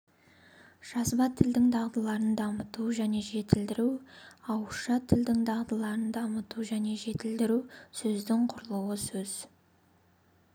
жазба тілдің дағдыларын дамыту және жетілдіру ауызша тілдің дағдыларын дамыту және жетілдіру сөздің құрылуы сөз